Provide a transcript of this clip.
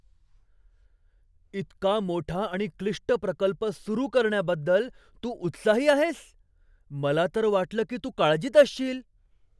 इतका मोठा आणि क्लिष्ट प्रकल्प सुरू करण्याबद्दल तू उत्साही आहेस? मला तर वाटलं की तू काळजीत असशील.